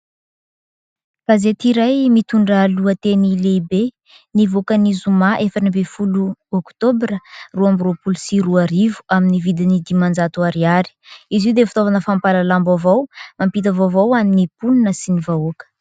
Gazety iray mitondra lohateny lehibe, nivoaka ny zoma efatra ambin'ny folo oktobra roa amby roapolo sy roa arivo, amin'ny vidiny dimanjato ariary. Izy io dia fitaovana fampahalalam-baovao mampita vaovao ho an'ny mponina sy ny vahoaka.